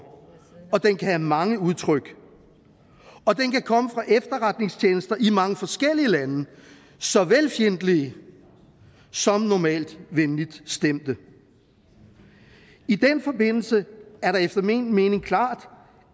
og den kan have mange udtryk og den kan komme fra efterretningstjenester i mange forskellige lande såvel fjendtlige som normalt venligt stemte i den forbindelse er det efter min mening klart